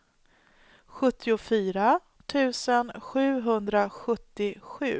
sjuttiofyra tusen sjuhundrasjuttiosju